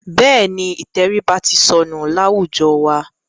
Bẹ́ẹ̀ni, ìtẹríba ti sọnù láwùjọ wa.